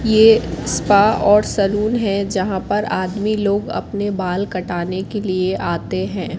ये स्पा और सलून है जहां पर आदमी लोग अपने बाल काटने के लिए आते हैं।